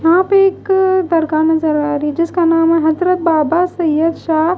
वहां पे एक दरगाह नजर आ रही जिसका नाम है हजरत बाबा सैयद शाह।